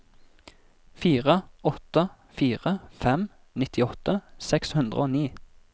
fire åtte fire fem nittiåtte seks hundre og ni